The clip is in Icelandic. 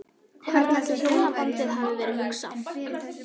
Hvernig ætli hjónabandið hafi verið hugsað?